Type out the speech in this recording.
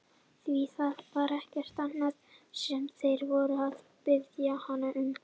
Því það var ekkert annað sem þeir voru að biðja hann um!